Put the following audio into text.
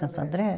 Santo André?